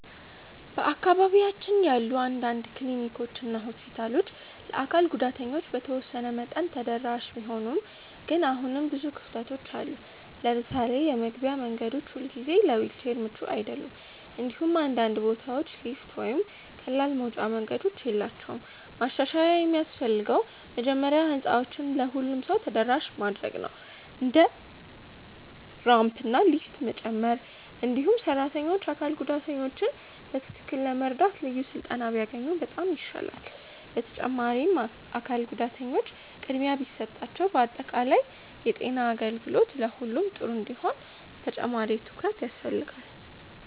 በአካባቢያችን ያሉ አንዳንድ ክሊኒኮች እና ሆስፒታሎች ለአካል ጉዳተኞች በተወሰነ መጠን ተደራሽ ቢሆኑም ግን አሁንም ብዙ ክፍተቶች አሉ። ለምሳሌ የመግቢያ መንገዶች ሁልጊዜ ለዊልቸር ምቹ አይደሉም፣ እንዲሁም አንዳንድ ቦታዎች ሊፍት ወይም ቀላል መውጫ መንገዶች የላቸውም። ማሻሻያ የሚያስፈልገው መጀመሪያ ህንፃዎችን ለሁሉም ሰው ተደራሽ ማድረግ ነው፣ እንደ ራምፕ እና ሊፍት መጨመር። እንዲሁም ሰራተኞች አካል ጉዳተኞችን በትክክል ለመርዳት ልዩ ስልጠና ቢያገኙ በጣም ይሻላል። በተጨማሪም አካል ጉዳተኞች ቅድሚያ ቢሰጣቸው በአጠቃላይ የጤና አገልግሎት ለሁሉም ጥሩ እንዲሆን ተጨማሪ ትኩረት ያስፈልጋል።